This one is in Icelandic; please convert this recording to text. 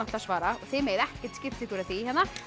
að svara þið megið ekkert skipta ykkur af því